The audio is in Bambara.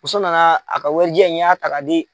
Muso nana a ka warijɛ in y'a ta ka di.